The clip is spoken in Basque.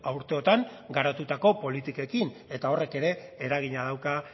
urteotan garatutako politikekin eta horrek ere eragina dauka